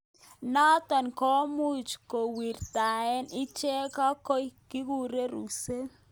Notok komuch kowirtakei ichekei ak ko kikure Cruise.